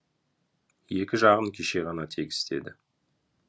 екі жағын кеше ғана тегістеді